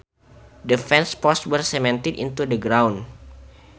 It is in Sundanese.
The fence posts were cemented into the ground